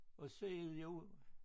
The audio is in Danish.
Og så er det jo